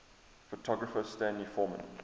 photographer stanley forman